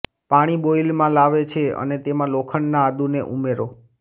પાણી બોઇલમાં લાવે છે અને તેમાં લોખંડના આદુને ઉમેરો